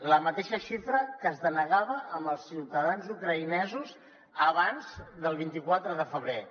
la mateixa xifra que es denegava als ciutadans ucraïnesos abans del vint quatre de febrer